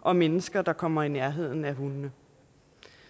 og mennesker der kommer i nærheden af hundene